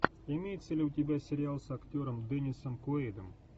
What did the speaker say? имеется ли у тебя сериал с актером деннисом куэйдом